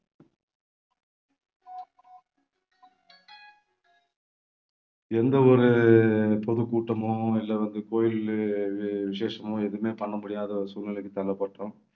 எந்த ஒரு பொதுக்கூட்டமோ இல்லை வந்து கோயில் விசேஷமோ எதுவுமே பண்ண முடியாத ஒரு சூழ்நிலைக்கு தள்ளப்பட்டோம்